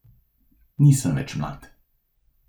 Nisem več mlad ...